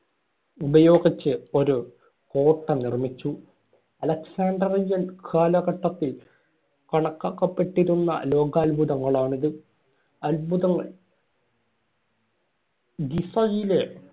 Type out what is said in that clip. ഉപയോഗിച്ച് ഒരു കോട്ട നിർമിച്ചു. അലക്സാഡ്രിയൻ കാലഘട്ടത്തിൽ കണക്കാക്കപ്പെട്ടിരുന്ന ലോകാത്ഭുതങ്ങളാണ് ഇത്. അത്ഭുതങ്ങള്‍. ഗിസയിലെ